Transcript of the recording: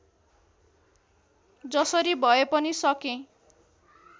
जसरी भए पनि सकेँ